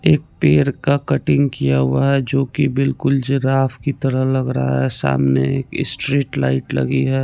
एक पेर का कटिंग किया हुआ है जो की बिलकुल जिराफ की तरह लगरा है सामने एक स्ट्रीट लाइट लगी है।